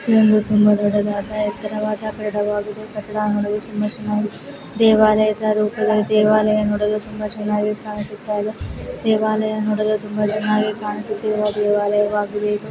ಇದು ಒಂದು ತುಂಬಾ ದೊಡ್ಡದಾದ ಎತ್ತರವಾದ ದೇವಾಲಯ ಇದೆ ಕಟ್ಟಡ ನೋಡಲು ತುಂಬಾ ಚೆನ್ನಾಗಿ ದೇವಾಲಯ ರೂಪದಲ್ಲಿ ದೇವಾಲಯ ನೋಡಲು ತುಂಬಾ ಚೆನ್ನಾಗಿ ಕಾಣಿಸುತ್ತಾ ಇದೆ ದೇವಾಲಯ ನೋಡಲ್ ತುಂಬಾ ಚೆನ್ನಾಗಿ ಕಾಣಿಸುತ್ತಿದೆ ದೇವಾಲಯವಾಗಿದೆ ಇದು.